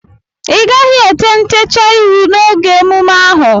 Ịgaghị ete ntecha ihu n'oge emume ahụ!